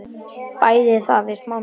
Bætið þá við smá mjólk.